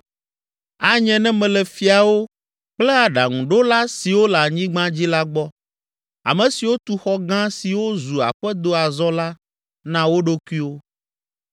Anye ne mele fiawo kple aɖaŋuɖola siwo le anyigba dzi la gbɔ, ame siwo tu xɔ gã siwo zu aƒedo azɔ la na wo ɖokuiwo.